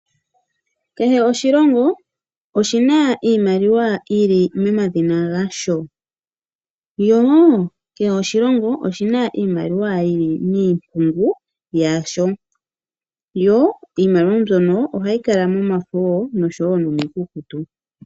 Kehe oshilongo oshina iimaliwa yili mo madhina gasho. Yo kehe oshilongo oshina iimaliwa yili miimpungu yasho. Yo iimaliwa mbyono ohayi kala momafo nosho wo nomiikukutu.